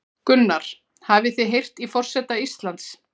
Gunnar: Hafið þið heyrt í forseta Íslands?